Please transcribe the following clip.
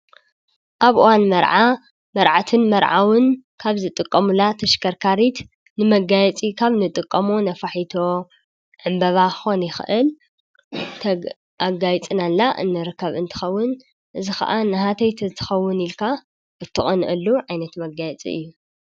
ኣብ እዋን መርዓ መርዓትን መርዓዉን ካብ ዝጥቀሙላ ተሽከርካሪት ንመጋየፂ ካብ ንጥቀሞ ነፋሒቶ, ዕምበባ ክኮን ይክእል ኣጋይፅናላ እንርከብ እንትከዉን እዚ ከዓ ናሃተይ ተትከዉን ኢልካ ትቀንኣሉ ዓይነት መጋየፂ እዩ ።